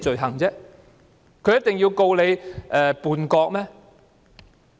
大陸一定要以叛國罪起訴嗎？